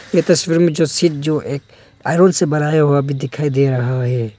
ये तस्वीर में जो चीज जो एक से बनाया हुआ भी दिखाई दे रहा है।